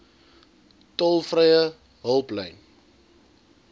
tolvrye hulplyn